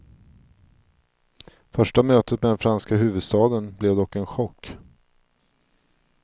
Första mötet med den franska huvudstaden blev dock en chock.